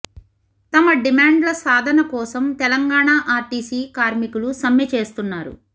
తమ డిమాండ్ల సాధన కోసం తెలంగాణ ఆర్టీసీ కార్మికులు సమ్మె చేస్తున్నారు